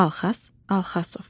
Alhəs Alxasov.